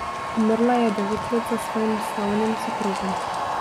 Umrla je devet let za svojim slavnim soprogom.